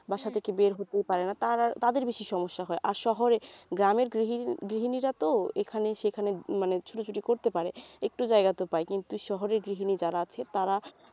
বাসা থেকে বের হতেই পারেনা তারা তাদের বেশি সমস্যা হয় আর শহরে গ্রামের গৃহিণী গৃহিণীরা তো এখানে সেখানে ছুটোছুটি করতে পারে একটু জায়গা তো পায় কিন্তু শহরের গৃহিণী যারা আছে তারা